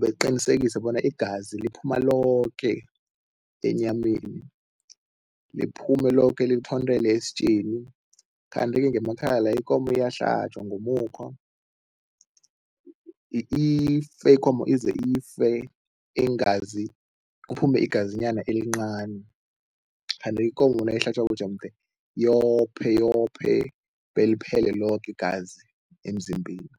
baqinisekise bona igazi liphuma loke enyameni, liphume loke lithontele esitjeni, kanti-ke ngemakhaya la ikomo iyahlatjwa ngomukhwa ife ikomo ize ife iingazi, kuphume igazinyana elincani kanti ikomo nayihlatjwako jemde yophe yophe beliphele loke igazi emzimbeni.